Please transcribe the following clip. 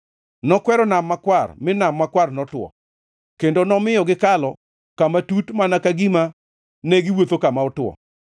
Nokwero Nam Makwar, mi Nam Makwar notwo; kendo nomiyo gikalo kama tut mana ka gima ne giwuotho kama otwo.